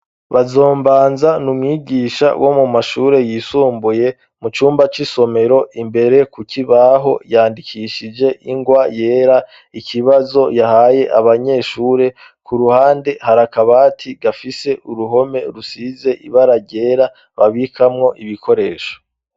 Bazombanza n'umwigisha wo mu mashure yisumbuye, mu cumba c'isomero imbere ku kibaho yandikishije ingwa yera ikibazo yahaye abanyeshure, ku ruhande hari akabati gafise uruhome rusize ibara ryera babikamwo ibikoresho.